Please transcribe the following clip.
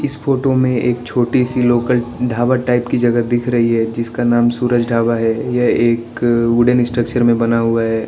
Photo में एक छोटी सी लोकल ढाबा टाइप की जगह दिख रही है जिसका नाम सूरज ढाबा है यह एक वुडन स्ट्रक्चर में बना हुआ है।